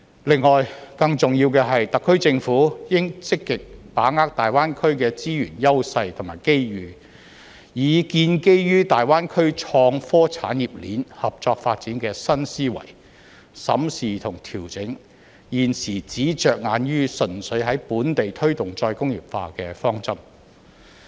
另外，更重要的是，特區政府應積極把握大灣區的資源優勢和機遇，以建基於大灣區創科產業鏈合作發展的新思維，審視和調整現時只着眼於純粹在本地推動再工業化的方針。